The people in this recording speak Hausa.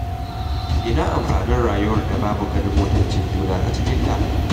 Ina amfanin rayuwar da babu ganin mutuncin juna a cikinta?